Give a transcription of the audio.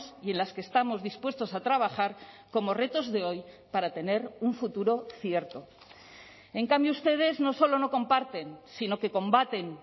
y en las que estamos dispuestos a trabajar como retos de hoy para tener un futuro cierto en cambio ustedes no solo no comparten sino que combaten